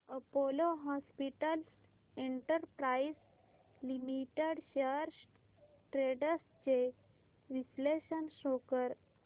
Apollo hospitals enterprise limited shares trends चे विश्लेषण show कर